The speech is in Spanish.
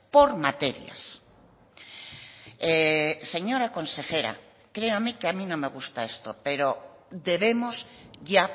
por materias señora consejera créame que a mí no me gusta esto pero debemos ya